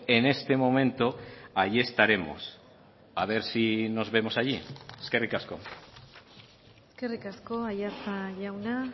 en este momento ahí estaremos a ver si nos vemos allí eskerrik asko eskerrik asko aiartza jauna